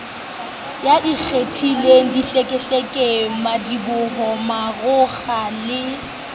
ikgethileng dihlekehleke madiboho marokgo le